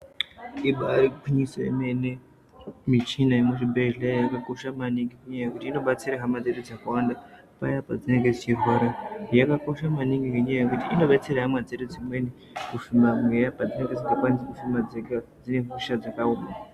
Ibairi gwinyiso yemene michina yemuzvibhehleya inokosha maningi ngenyaya yekuti inobatsire hama dzedu dzakawanda paya padzinenge dzichirwara yakakosha maningi ngenyayabyekuti inobatsira hama dzedu dzimweni kuhluma mweya padzinenge dzinobatwa ngemadzikirira dzine hosha dzakaoma